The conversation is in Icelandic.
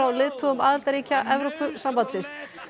leiðtogum aðildarríkja Evrópusambandsins